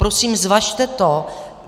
Prosím, zvažte to.